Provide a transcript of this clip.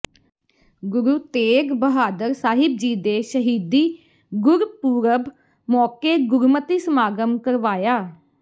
ਗੁਰੂ ਤੇਗ ਬਹਾਦਰ ਸਾਹਿਬ ਜੀ ਦੇ ਸ਼ਹੀਦੀ ਗੁਰਪੁਰਬ ਮੌਕੇ ਗੁਰਮਤਿ ਸਮਾਗਮ ਕਰਵਾਇਆ